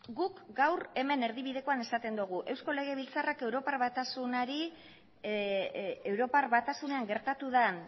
guk gaur hemen erdibidekoan esaten dugu eusko legebiltzarrak europar batasunean gertatu den